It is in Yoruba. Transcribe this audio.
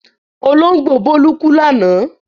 Olóńgbò Bólú kú lánàá?